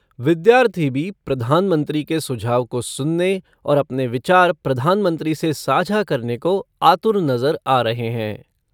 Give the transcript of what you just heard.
विद्यार्थी भी प्रधानमंत्री के सुझाव को सुनने और अपने विचार प्रधानमंत्री से साझा करने को आतुर नज़र आ रहे हैं।